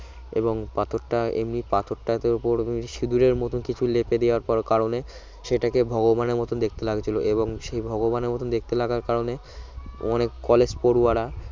এবং পাথরটা এমনি পাথরটার উপর সিঁদুরের মতো কিছু লেপে দেওয়ার পর কারণে সেটাকে ভগবানের মত দেখতে লাগছিল এবং সেই ভগবানের মতো দেখতে লাগার কারণে অনেক college পড়ুয়ারা